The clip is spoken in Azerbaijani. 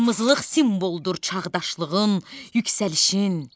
Qırmızılıq simvoldur çağdaşlığın, yüksəlişin.